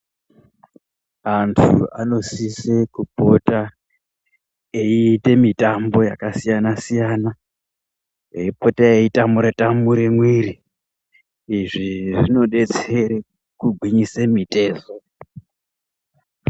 Anthu anosise kupota eiite mitambo yakasiyana-siyana, eipota eitamure tamure mwiri izvi zvinodetsere kugwinyisa mitezo.